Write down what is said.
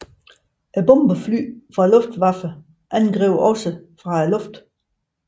Bomberfly fra Luftwaffe angreb også fra luften